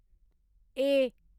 ए